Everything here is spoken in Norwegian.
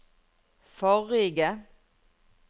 forrige